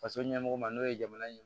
Faso ɲɛmɔgɔ ma n'o ye jamana in ye